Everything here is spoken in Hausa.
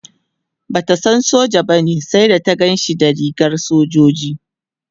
Bata san soja bane sai da ta Ganshi da rigar sojoji